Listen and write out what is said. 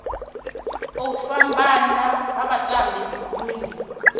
u fhambana ha vhatambi buguni